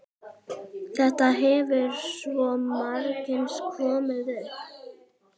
Þetta hefur svo margsinnis komið upp.